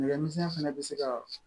Nɛgɛ misɛnya fana bɛ se ka